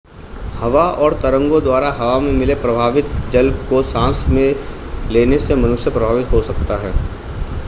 हवा और तरंगों द्वारा हवा में मिले प्रभावित जल को सांस में लेने से मनुष्य प्रभावित हो सकता है